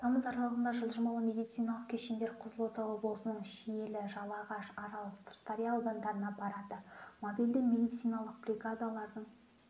тамыз аралығында жылжымалы медициналық кешендер қызылорда облысының шиелі жалағаш арал сырдария аудандарына барады мобильді медициналық бригадалардың